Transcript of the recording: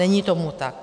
Není tomu tak.